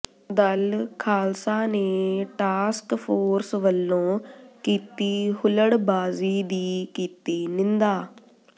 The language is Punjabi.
ਦਲ ਖ਼ਾਲਸਾ ਨੇ ਟਾਸਕ ਫ਼ੋਰਸ ਵਲੋਂ ਕੀਤੀ ਹੁਲੜਬਾਜ਼ੀ ਦੀ ਕੀਤੀ ਨਿੰਦਾ